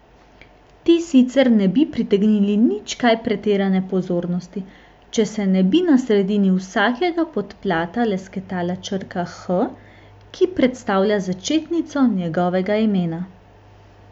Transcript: Ti sicer ne bi pritegnili nič kaj pretirane pozornosti, če se ne bi na sredini vsakega podplata lesketala črka H, ki predstavlja začetnico njegovega imena.